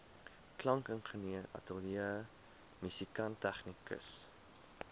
klankingenieur ateljeemusikant tegnikus